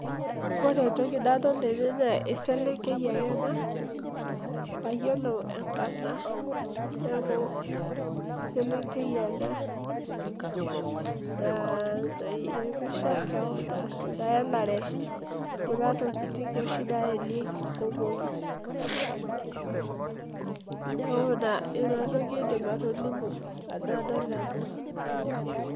Ore entoki nadol tene naa eselenkei ake ena, mayiolo enkarna. Neeku eselenkei ena, nai rembesha keon asu naelare kuna tokiting oshi naelekie inkomomi. Neeku ina, inatoki aidim atolimu tenadol ena.